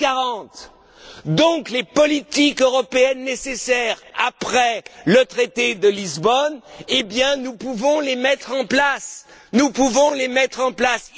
fait 140. Donc, les politiques européennes nécessaires après le traité de Lisbonne, eh bien nous pouvons les mettre en place